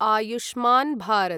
Ayushman Bharat